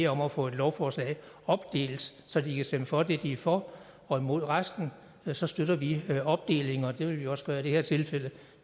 om at få et lovforslag opdelt så de kan stemme for det de er for og imod resten så støtter vi opdeling og det vil vi også gøre i det her tilfælde